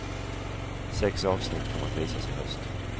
Sex avsnitt kommer att visas i höst.